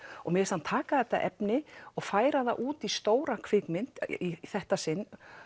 mér finnst hann taka þetta efni og færa það út í stóra kvikmynd í þetta sinn